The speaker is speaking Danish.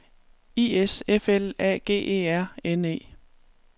I S F L A G E R N E